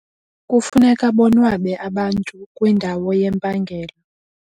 Kufuneka bonwabe abantu kwindawo yempangelo.